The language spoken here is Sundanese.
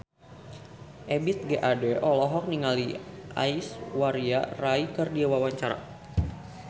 Ebith G. Ade olohok ningali Aishwarya Rai keur diwawancara